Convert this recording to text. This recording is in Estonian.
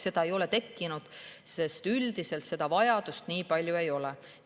Seda ei ole tekkinud, sest üldiselt seda vajadust nii palju ei ole.